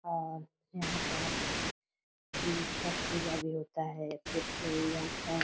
और यहाँ पर उम छठ पूजा भी होता है फिर से यहाँ पर --